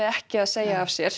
ekki segja af sér